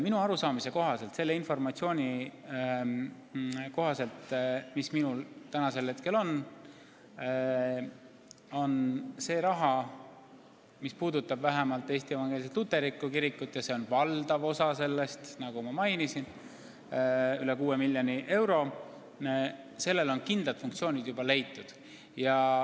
Minu arusaama kohaselt, selle informatsiooni kohaselt, mis mul täna on, on rahale, mis läheb Eesti Evangeelsele Luterlikule Kirikule – ja see on valdav osa sellest summast, nagu ma mainisin, üle 6 miljoni euro –, kindel otstarve juba leitud.